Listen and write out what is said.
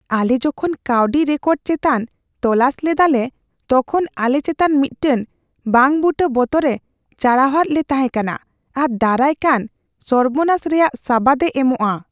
ᱟᱞᱮ ᱡᱚᱠᱷᱚᱱ ᱠᱟᱹᱣᱰᱤ ᱨᱮᱠᱚᱨᱰ ᱪᱮᱛᱟᱱ ᱛᱚᱞᱟᱥ ᱞᱮᱫᱟᱞᱮ, ᱛᱚᱠᱷᱚᱱ ᱟᱞᱮ ᱪᱮᱛᱟᱱ ᱢᱤᱫᱴᱟᱝ ᱵᱟᱝᱼᱵᱩᱴᱟᱹ ᱵᱚᱛᱚᱨᱼᱮ ᱪᱟᱲᱦᱟᱣᱟᱫ ᱞᱮ ᱛᱟᱦᱮᱸ ᱠᱟᱱᱟ ᱟᱨ ᱫᱟᱨᱟᱭᱠᱟᱱ ᱥᱚᱨᱵᱚᱱᱟᱥ ᱨᱮᱭᱟᱜ ᱥᱟᱵᱟᱫ ᱮ ᱮᱢᱚᱜᱼᱟ ᱾